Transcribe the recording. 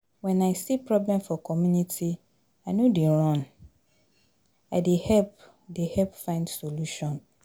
Wen I see problem for community, I no dey run, I dey help dey help find solution.